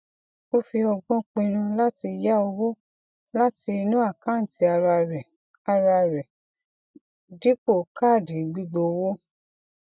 ó fi ọgbọn pinnu láti yá owó láti inú àkántì ara rẹ ara rẹ dípò káàdì gbígbówó